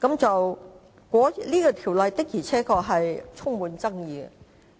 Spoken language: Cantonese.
這《條例草案》確實充滿爭議。